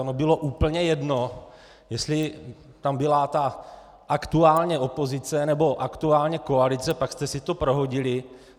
Ono bylo úplně jedno, jestli tam byla ta aktuálně opozice nebo aktuálně koalice, pak jste si to prohodili.